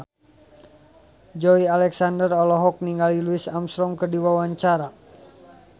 Joey Alexander olohok ningali Louis Armstrong keur diwawancara